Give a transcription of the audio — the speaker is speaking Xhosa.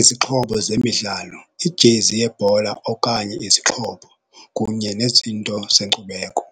Izixhobo zemidlalo, ijezi yebhola okanye izixhobo kunye nezinto zeenkcubeko.